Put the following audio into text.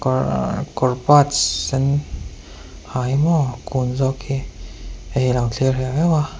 kawr sen ha hi maw kun zawk hi heihi alo thlir heuh heuh a.